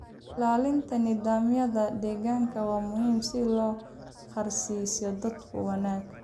Ilaalinta nidaamyada deegaanka waa muhiim si loo gaarsiiyo dadku wanaag.